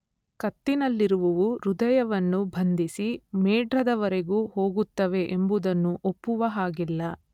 ಕತ್ತಿನಲ್ಲಿರುವುವು ಹೃದಯವನ್ನು ಬಂಧಿಸಿ ಮೇಢ್ರದವರೆಗೂ ಹೋಗುತ್ತವೆ ಎಂಬುದನ್ನು ಒಪ್ಪುವಹಾಗಿಲ್ಲ.